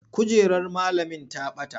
Kujerar malamin ta bata.